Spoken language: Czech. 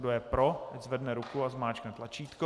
Kdo je pro, ať zvedne ruku a zmáčkne tlačítko.